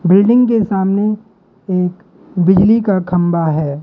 Building के सामने एक बिजली का खंभा है।